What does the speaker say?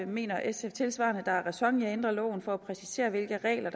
mener sf tilsvarende at der er ræson i at ændre loven for at præcisere hvilke regler